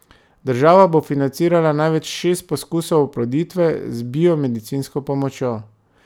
Država bo financirala največ šest poskusov oploditve z biomedicinsko pomočjo.